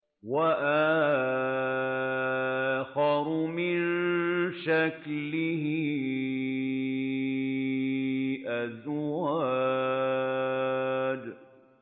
وَآخَرُ مِن شَكْلِهِ أَزْوَاجٌ